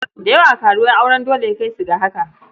Da yawa karuwai auren dole ya kai su ga haka.